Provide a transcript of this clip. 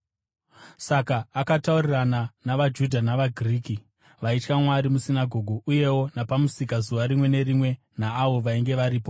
Saka akataurirana navaJudha navaGiriki vaitya Mwari musinagoge, uyewo napamusika zuva rimwe nerimwe naavo vainge varipo.